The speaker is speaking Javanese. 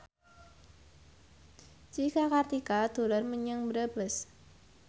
Cika Kartika dolan menyang Brebes